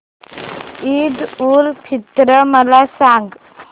ईद उल फित्र मला सांग